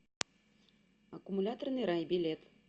аккумуляторный рай билет